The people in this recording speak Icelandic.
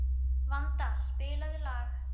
Vanda, spilaðu lag.